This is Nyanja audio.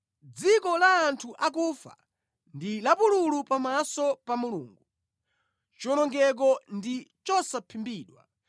Dziko la anthu akufa ndi lapululu pamaso pa Mulungu; chiwonongeko ndi chosaphimbidwa.